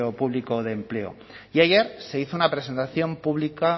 público de empleo y ayer se hizo una presentación pública